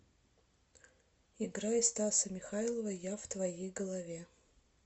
играй стаса михайлова я в твоей голове